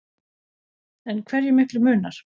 En hversu miklu munar